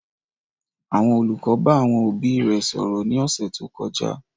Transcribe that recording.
Àwọn olùkọ́ bá àwọn òbí rẹ̀ sọ̀rọ̀ ní ọ̀sẹ̀ tó kọjá